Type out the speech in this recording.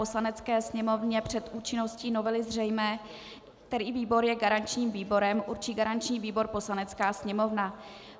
Poslanecké sněmovně před účinností novely zřejmé, který výbor je garančním výborem, určí garanční výbor Poslanecká sněmovna.